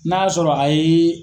N'a'a sɔrɔ a yeee.